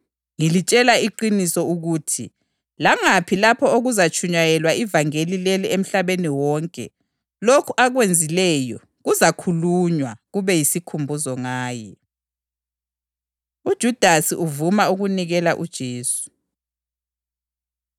Ngilitshela iqiniso ukuthi langaphi lapho okuzatshunyayelwa ivangeli leli emhlabeni wonke, lokhu akwenzileyo kuzakhulunywa, kube yisikhumbuzo ngaye.” UJudasi Uvuma Ukunikela UJesu